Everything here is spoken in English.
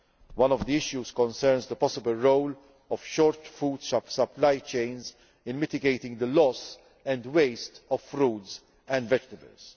One of the issues concerns the possible role of short food supply chains in mitigating the loss and waste of fruit and vegetables.